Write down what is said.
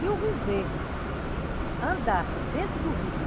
Se o governo andasse dentro do rio